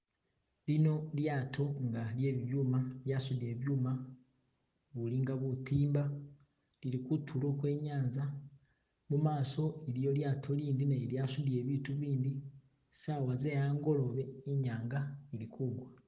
Lino lyato nga lye bibyuma lya sudile byuma ubuli nga butimba, lili kutulo kwe inyanza, mamaso iliyo lyato ilindi nalyo lyasutile biitu ibindi , saawa ze angolobe inyanga ili kugwa.